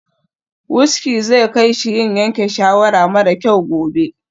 Wuski zai kai shi yin yanke shawara mara kyau gobe.